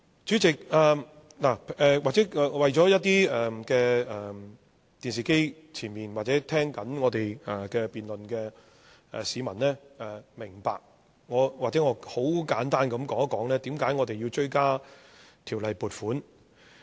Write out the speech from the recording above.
主席，為了令一些在電視機前面或正在聽我們辯論的市民明白，也許我很簡單地說一說為何要追加撥款。